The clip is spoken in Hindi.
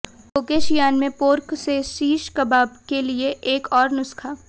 कोकेशियान में पोर्क से शिश कबाब के लिए एक और नुस्खा